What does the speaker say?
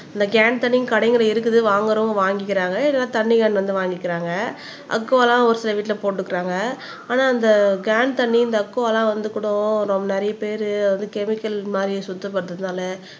இந்த கேன் தண்ணியும் கடைகளில் இருக்குது வாங்கணுங்கறவங்க வாங்கிக்கிறாங்க இல்ல தண்ணி கேன் வந்து வாங்கிக்கிறாங்க அக்குவாலாம் ஒரு சில வீட்டில போட்டுக்கறாங்க ஆனா இந்த கேன் தண்ணி இந்த அக்குவா எல்லாம் வந்து கூட ரொம் நிறைய பேர் அது கெமிக்கல் மாதிரி சுத்தப்படுத்தறதுனால